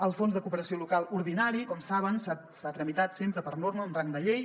el fons de cooperació local ordinari com saben s’ha tramitat sempre per norma amb rang de llei